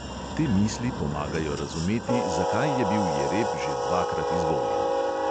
Te misli pomagajo razumeti, zakaj je bil jereb že dvakrat izvoljen.